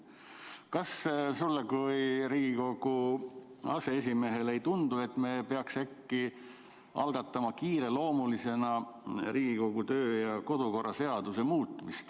Kas sulle kui Riigikogu aseesimehele ei tundu, et me peaks äkki algatama kiireloomulisena Riigikogu kodu- ja töökorra seaduse muutmise?